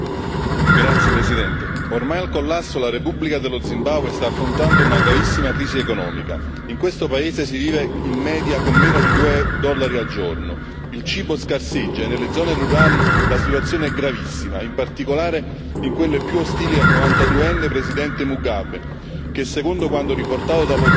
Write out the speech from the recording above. Signor Presidente, onorevoli colleghi, ormai al collasso, la Repubblica dello Zimbabwe sta affrontando una gravissima crisi economica in questo paese si vive in media con meno di due dollari al giorno, il cibo scarseggia e nelle zone rurali la situazione è gravissima, in particolare in quelle più ostili al 92enne presidente Mugabe che, secondo quanto riportato dalla